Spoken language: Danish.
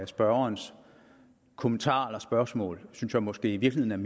spørgerens kommentar eller spørgsmål synes jeg måske i virkeligheden